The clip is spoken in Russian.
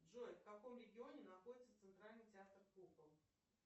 джой в каком регионе находится центральный театр кукол